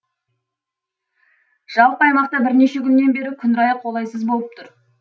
жалпы аймақта бірнеше күннен бері күн райы қолайсыз болып тұр